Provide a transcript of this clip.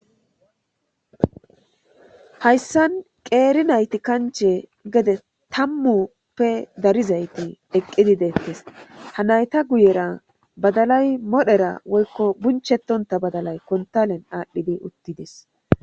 Hayssan qeeri nayti kanche gede tammuppe darizayti eqqidi deettes ha nayta guyera badalay modhera woykko bunchetonta badalay kontalen aadhdhidi uttides.